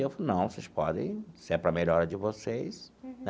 E ele falou, não, vocês podem, se é para a melhora de vocês.